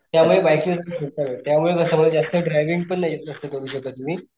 त्या मूळ बाइकत्यामुळं कस मला जास्त ड्राइविंग पण जास्त करू नाही शकत मी.